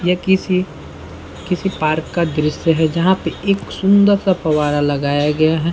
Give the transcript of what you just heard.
ये किसी किसी पार्क का दृश्य है जहाँ पे एक सुन्दर सा फव्वारा लगाया गया है।